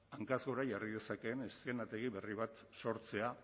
hankaz gora jarri dezakeen eszenategi berri bat sortzea